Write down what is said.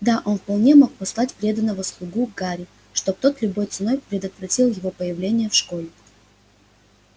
да он вполне мог послать преданного слугу к гарри чтобы тот любой ценой предотвратил его появление в школе